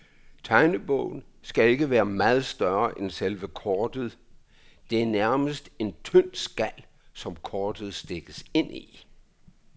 Tegnebogen skal ikke være meget større end selve kortet, det er nærmest en tynd skal, som kortet stikkes ind i.